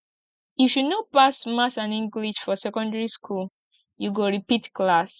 if you no pass maths and english for secondary skool you go repeat class